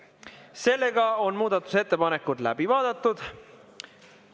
Sellega on muudatusettepanekud läbi vaadatud.